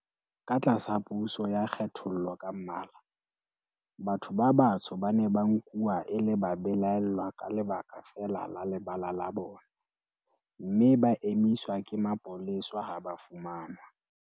Ka tlasa puso ya kgethollo ka mmala, batho ba batsho ba ne ba nkuwa e le babelaellwa ka lebaka feela la lebala la bona, mme ba emiswa ke mapolesa ha ba fumanwa